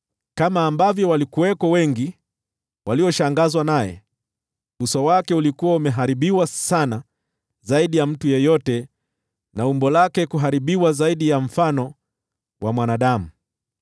Kama walivyokuwa wengi walioshangazwa naye, kwani uso wake ulikuwa umeharibiwa sana zaidi ya mtu yeyote na umbo lake kuharibiwa zaidi ya mfano wa mwanadamu: